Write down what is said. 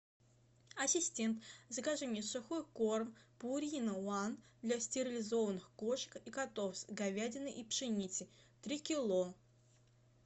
ассистент закажи мне сухой корм пурина ван для стерилизованных кошек и котов с говядиной и пшеницей три кило